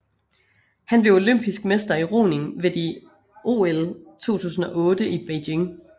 Han blev olympisk mester i roning ved de OL 2008 i Beijing